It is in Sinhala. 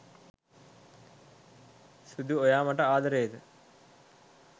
සුදු ඔයා මට ආදරේද